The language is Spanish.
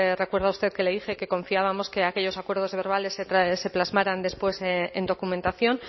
recuerda usted que le dije que confiábamos que aquellos acuerdos verbales se plasmaran después en documentación